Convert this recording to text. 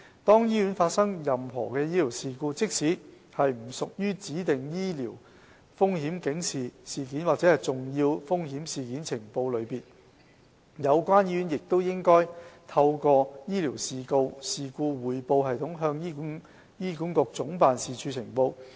當醫院發生任何醫療事故，即使不屬於指定的醫療風險警示事件或重要風險事件呈報類別，有關醫院亦應透過醫療事故匯報系統向醫管局總辦事處呈報。